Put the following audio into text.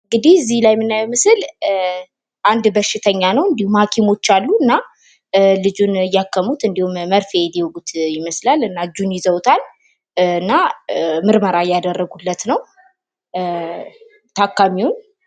እንግዲህ እዚህ ላይ የምናየው ምስል አንድ በሽተኛ ነው። እንድሁም ሀኪሞች አሉ። እና ልጁንን እያከሙት መርፌ ሊወጉት ይመስላል። እና እጁን ይዘውታል። እና ምርመራ እያደረጉለት ነው ታካሚውን።